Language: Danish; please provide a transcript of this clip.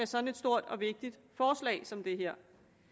så stort og vigtigt forslag som det her